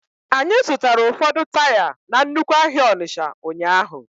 Anyị zụtara ụfọdụ taya na nnukwu ahịa Onitsha ụnyahụ.